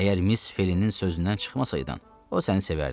Əgər Miss Felinin sözündən çıxmasaydın, o səni sevərdi.